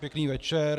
Pěkný večer.